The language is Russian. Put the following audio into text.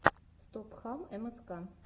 стопхам мск